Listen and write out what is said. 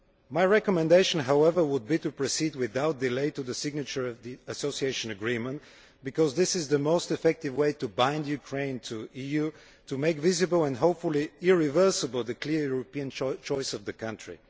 My recommendation, however, would be to proceed without delay to the signature of the Association Agreement, because this is the most effective way to bind Ukraine to the EU, to make visible and, hopefully, irreversible the clear European choice of the country.